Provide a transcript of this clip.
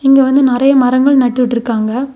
இங்க வந்து நறைய மரங்கள் நட்டுட்டுருக்காங்க.